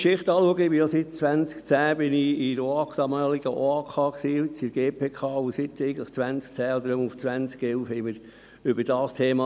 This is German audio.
Wenn ich auf meine Geschichte zurückblicke – ich bin ja seit 2010 Mitglied der Oberaufsichtskommission (OAK), der jetzigen GPK.